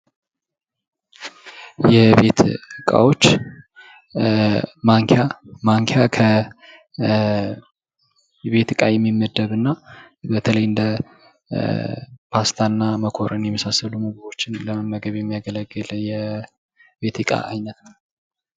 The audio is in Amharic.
የቤት ዕቃወች ማንኪያ ማንኪያ ከቤት እቃ የሚመደብና በተለይ እንደ ፓስታ እና መኮረኒ የመሳሰሉ ነገሮችን ለመመገብ የሚያገለግል የቤት እቃ አይነት ነው።